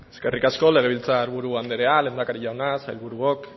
eskerrik asko legebiltzarburu andrea lehendakari jauna sailburuok